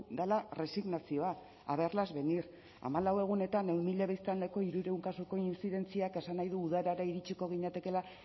dela erresignazioa a verlas venir hamalau egunetan ehun mila biztanleko hirurehun kasuko intzidentziak esan nahi du udara iritsiko ginatekeela